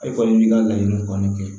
E kɔni b'i ka laɲini kɔni kɛ